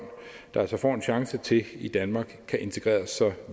der altså får en chance til i danmark kan integreres